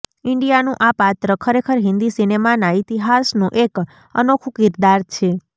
ઈન્ડિયાનું આ પાત્ર ખરેખર હિન્દી સિનેમાના ઈતિહાસનું એક અનોખું કિરદાર છે